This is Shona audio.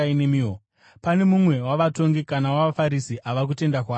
Pane mumwe wavatongi kana wavaFarisi ava kutenda kwaari here?